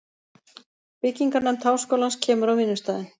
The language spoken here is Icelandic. Byggingarnefnd háskólans kemur á vinnustaðinn.